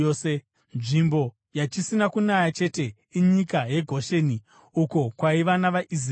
Nzvimbo yachisina kunaya chete inyika yeGosheni, uko kwaiva navaIsraeri.